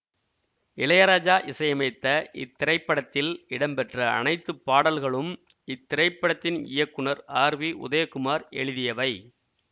இளையராஜா இசையமைத்த இத்திரைப்படத்தில் இடம்பெற்ற அனைத்து பாடல்களும் இத்திரைப்படத்தின் இயக்குநர் ஆர் வி உதயகுமார் எழுதியவை